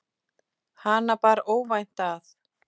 Hana bar óvænt að.